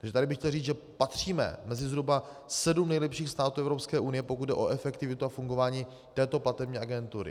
Takže tady bych chtěl říct, že patříme mezi zhruba sedm nejlepších států Evropské unie, pokud jde o efektivitu a fungování této platební agentury.